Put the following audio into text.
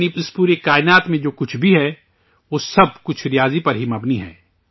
یعنی، اس پوری کائنات میں جو کچھ بھی ہے، وہ سب کچھ ریاضی پر ہی مبنی ہے